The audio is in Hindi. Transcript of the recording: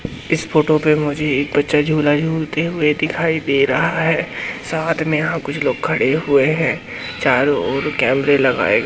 इस फोटो पे मुझे एक बच्चा झूला झूलते हुए दिखाई दे रहा है साथ में यहां कुछ लोग खड़े हुए हैं चारों ओर कैमरे लगाए--